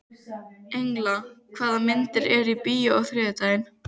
Engla, hvaða myndir eru í bíó á þriðjudaginn?